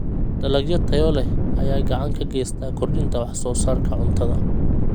Dalagyo tayo leh ayaa gacan ka geysta kordhinta wax soo saarka cuntada.